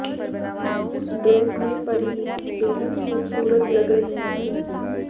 उस ड्रेस में परिणीति बेहद खूबसूरत लग रही थीं